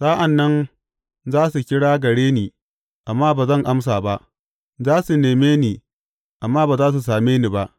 Sa’an nan za su kira gare ni amma ba zan amsa ba; za su neme ni amma ba za su same ni ba.